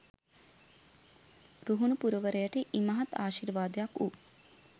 රුහුණු පුරවරයට ඉමහත් ආශිර්වාදයක් වූ